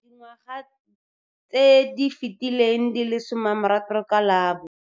Dingwaga tse di fetileng di le 60 ka la bo.